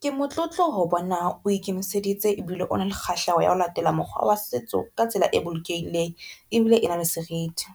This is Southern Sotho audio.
Ke motlotlo ho bona o ikemiseditse ebile o na le kgahleho ya ho latela mokgwa wa setso ka tsela e bolokehileng, ebile ena le seriti.